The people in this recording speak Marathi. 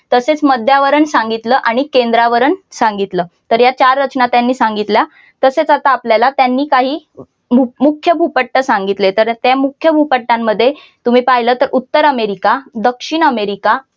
तसेच मध्यावरण सांगितल आणि केंद्रावरण सांगितलं तर या चार रचना त्यांनी सांगितल्या तसेच आता आपल्याला त्यांनी काही मुख्य भूपट्ट सांगितले तर ते मुख्य भूपट्टांमध्ये तुम्ही पाहिलं तर उत्तर अमेरिका दक्षिण अमेरिका